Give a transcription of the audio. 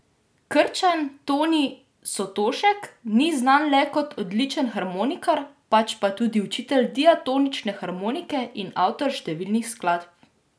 Krčan Toni Sotošek ni znan le kot odličen harmonikar, pač pa tudi učitelj diatonične harmonike in avtor številnih skladb.